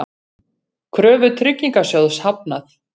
Kröfu Tryggingasjóðs hafnað